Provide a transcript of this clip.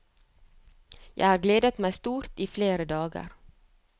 Jeg har gledet meg stort i flere dager.